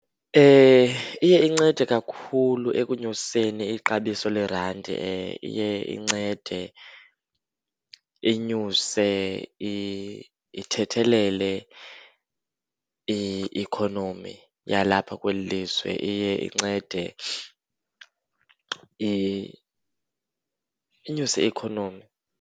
Iye incede kakhulu ekunyuseni ixabiso leerandi. Iye incede inyuse ithethelele i-ikhonomi yalapha kweli lizwe. Iye incede inyuse i-ikhonomi.